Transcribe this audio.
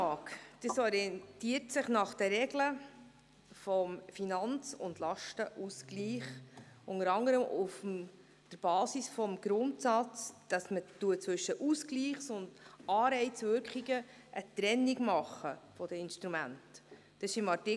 Das FILAG orientiert sich an den Regeln des Finanz- und Lastenausgleichs, unter anderem auf der Basis des Grundsatzes, dass man zwischen Ausgleichs- und Anreizwirkungen eine Trennung der Instrumente macht.